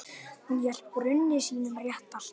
Hún lét drauma sína rætast.